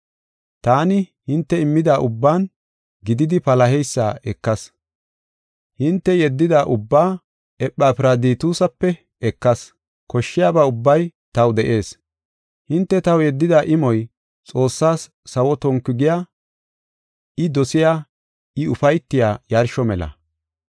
Taani, hinte immida ubbaanne gididi palaheysa ekas. Hinte yeddida ubbaa Ephafiraditusape ekas; koshshiyaba ubbay taw de7ees. Hinte taw yeddida imoy Xoossaas sawo tonku giya, I dosiya, I ufaytiya yarsho mela.